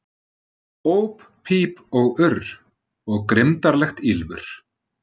Óp píp og urr, og grimmdarlegt ýlfur.